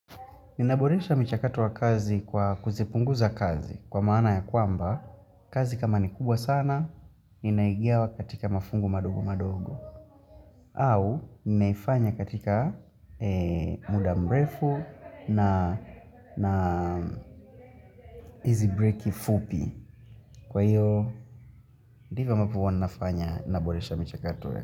Ninaboresha mchakato wa kazi kwa kuzipunguza kazi kwa maana ya kwamba, kazi kama ni kubwa sana, ninaigawa katika mafungu madogo madogo. Au, ninaifanya katika mudamrefu na hizi breki fupi. Kwa hiyo, divyo ambavyo huwa ninafanya naboresha mchakato.